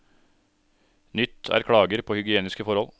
Nytt er klager på hygieniske forhold.